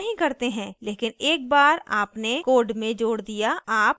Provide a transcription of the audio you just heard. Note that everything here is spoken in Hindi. लेकिन एक but आपने code में code दिया आप कुछ भी कार्य कर सकते हैं